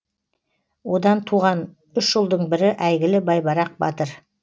одан туған үш ұлдың бірі әйгілі байбарақ батыр